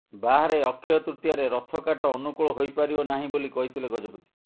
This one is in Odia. ବାହାରେ ଅକ୍ଷୟ ତୃତୀୟାରେ ରଥ କାଠ ଅନୁକୂଳ ହୋଇପାରିବ ନାହିଁ ବୋଲି କହିଥିଲେ ଗଜପତି